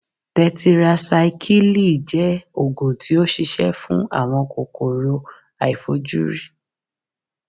Tẹtirasikílìì jẹ́ Ògùn tí ó ṣi ṣẹ́ fún kòkòrò aàìfojúrí.